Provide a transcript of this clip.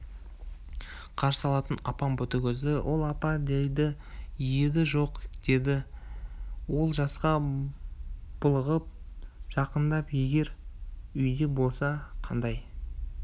қарсы алатын апам ботагөзді ол апа дейтін еді жоқ деді ол жасқа булығып жақындап егер үйде болса қандай